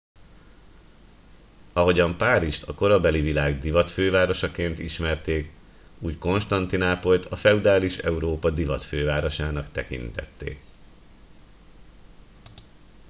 ahogyan párizst a korabeli világ divatfővárosaként ismerték úgy konstantinápolyt a feudális európa divatfővárosának tekintették